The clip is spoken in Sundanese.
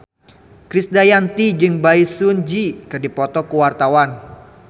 Krisdayanti jeung Bae Su Ji keur dipoto ku wartawan